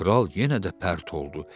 Kral yenə də pərt oldu.